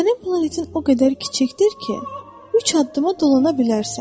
Sənin planetin o qədər kiçikdir ki, üç addıma dolana bilərsən.